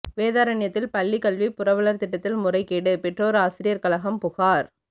வேதாரண்யத்தில் பள்ளிகல்வி புரவலர் திட்டத்தில் முறைகேடு பெற்றோர் ஆசிரியர் கழகம் புகார்